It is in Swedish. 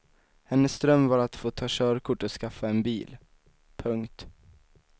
Hennes dröm var att få ta körkort och skaffa en bil. punkt